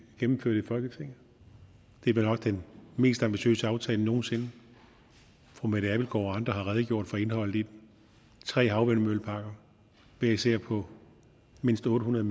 gennemført i folketinget det er vel nok den mest ambitiøse aftale nogen sinde fru mette og andre har redegjort for indholdet i den tre havvindmølleparker hver især på mindst otte hundrede